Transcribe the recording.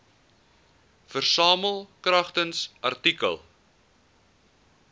versamel kragtens artikel